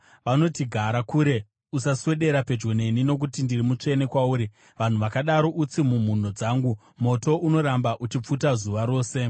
vanoti, ‘Gara kure; usaswedera pedyo neni, nokuti ndiri mutsvene kupfuura iwe.’ Vanhu vakadaro utsi mumhuno dzangu, moto unoramba uchipfuta zuva rose.